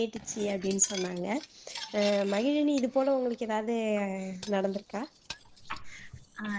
கேட்டுச்சு அப்படின்னு சொன்னாங்க அஹ் மகிழனி இது போல உங்களுக்கு எதாவது நடந்துருக்கா